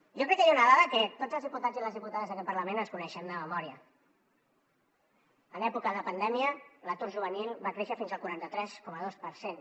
jo crec que hi ha una dada que tots els diputats i les diputades d’aquest parlament ens coneixem de memòria en època de pandèmia l’atur juvenil va créixer fins al quaranta tres coma dos per cent